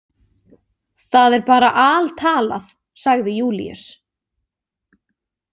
Það er bara altalað, sagði Júlíus.